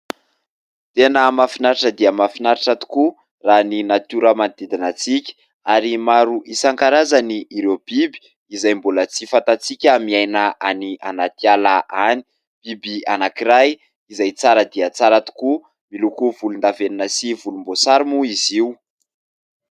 Tena mahafinaritra dia mahafinaritra tokoa raha ny natiora manodidina antsika ary maro isankarazany ireo biby izay mbola tsy fantantsika miaina any anaty ala any, biby anankiray izay tsara dia tsara tokoa miloko volondavenina sy volomboasary moa izy io.